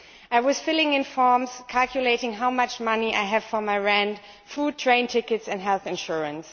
I was filling in forms, calculating how much money I had for my rent, food, train tickets and health insurance.